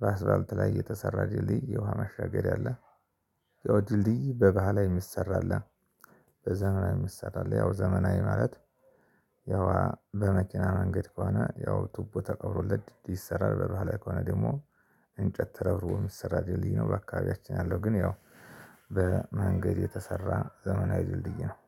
ባስባልት ላይ የተሰራ ድልድይ የውሃ ማሻገሪያ አለ። ያው ድልድይ በባህላዊ የሚሰራ አለ። በዘመናዊ የሚሰራ አለ ያው ዘመናዊ ማለት ያው በመኪና መንገድ ከሆነ ያው ቱቦ ተቀብሮለት ይሰራል። በባህላዊ ከሆነ ደግሞ እንጨት ተረብሮ የሚሰራ ድልድይ ነው። በአካባቢያችን ያለው ግን ያው በመንገድ የተሰራ ዘመናዊ ድልድይ ነው